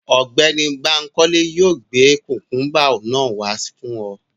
Ọgbẹni Bankole yóò gbe kukumba naa wa fun ọ